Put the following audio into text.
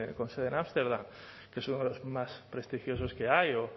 con sede en ámsterdam que es uno de los más prestigiosos que hay o